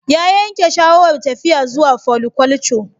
Ya yanke shawarar tafiya zuwa foliculture